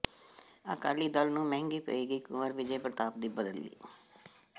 ਅਕਾਲੀ ਦਲ ਨੂੰ ਮਹਿੰਗੀ ਪਏਗੀ ਕੁੰਵਰ ਵਿਜੈ ਪ੍ਰਤਾਪ ਦੀ ਬਦਲੀ